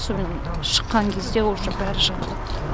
сомен шыққан кезде уже бәрі жатыр